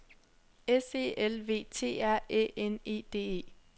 S E L V T R Æ N E D E